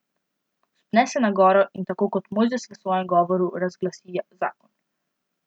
Vzpne se na goro in tako kot Mojzes v svojem govoru razglasi zakon.